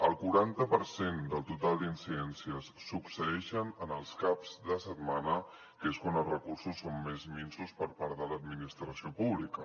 el quaranta per cent del total d’incidències succeeixen els caps de setmana que és quan els recursos són més minsos per part de l’administració pública